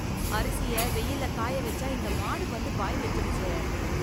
அரிசிய வெய்யில்ல காய வெச்சா இந்த மாடு வந்து வாய் வெச்சுடுச்சே.